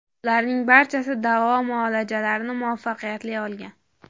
Ularning barchasi davo muolajalarini muvaffaqiyatli olgan.